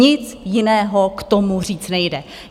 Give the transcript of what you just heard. Nic jiného k tomu říct nejde.